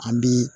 An bi